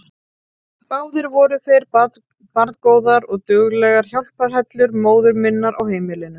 Báðar voru þær barngóðar og duglegar hjálparhellur móður minnar á heimilinu.